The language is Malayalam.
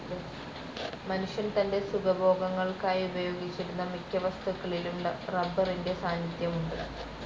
മനുഷ്യൻ തൻ്റെ സുഖഭോഗങ്ങൾക്കായുപയോഗിച്ചിരുന്ന മിക്കവസ്തുക്കളിലും റബ്ബറിൻ്റെ സാന്നിധ്യമുണ്ട്.